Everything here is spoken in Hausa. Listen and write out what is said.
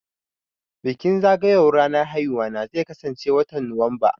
Bikin zagayo wan ranar aihuwana zai kasan ce watan Nuwamba